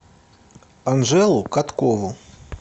анжелу каткову